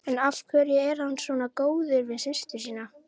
En af hverju er hann svona góður við systur sína?